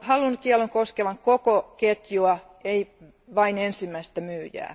halunnut kiellon koskevan koko ketjua, ei vain ensimmäistä myyjää.